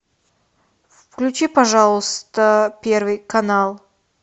включи пожалуйста первый канал